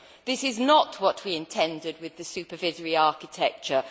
This is not what we intended with the supervisory architecture.